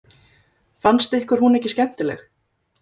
Fannst ykkur hún ekki skemmtileg?